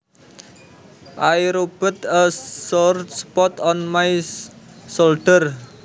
I rubbed a sore spot on my shoulder